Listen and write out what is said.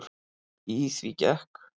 Í því gekk